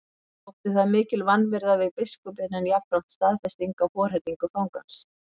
Þótti það mikil vanvirða við biskupinn en jafnframt staðfesting á forherðingu fangans.